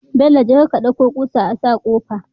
Bello jeka ka ɗauko kusa asa kofa